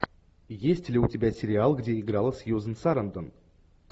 есть ли у тебя сериал где играла сьюзен сарандон